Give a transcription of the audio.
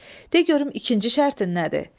De görüm ikinci şərtin nədir?